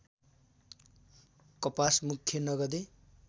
कपास मुख्य नगदे